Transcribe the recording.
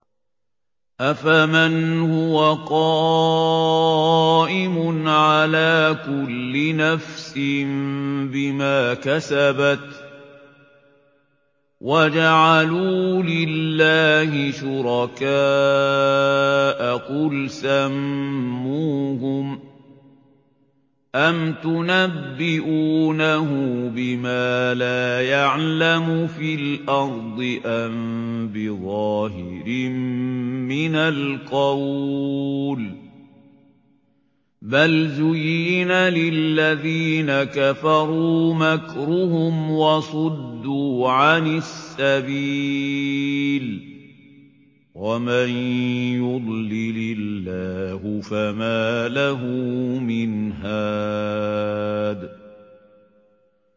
أَفَمَنْ هُوَ قَائِمٌ عَلَىٰ كُلِّ نَفْسٍ بِمَا كَسَبَتْ ۗ وَجَعَلُوا لِلَّهِ شُرَكَاءَ قُلْ سَمُّوهُمْ ۚ أَمْ تُنَبِّئُونَهُ بِمَا لَا يَعْلَمُ فِي الْأَرْضِ أَم بِظَاهِرٍ مِّنَ الْقَوْلِ ۗ بَلْ زُيِّنَ لِلَّذِينَ كَفَرُوا مَكْرُهُمْ وَصُدُّوا عَنِ السَّبِيلِ ۗ وَمَن يُضْلِلِ اللَّهُ فَمَا لَهُ مِنْ هَادٍ